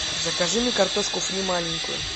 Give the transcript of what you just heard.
закажи мне картошку фри маленькую